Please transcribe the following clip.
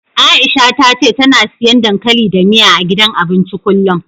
Aisha ta ce tana siyan dankali da miya, a gidan abincin kullum.